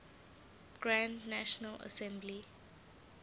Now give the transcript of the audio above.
grand national assembly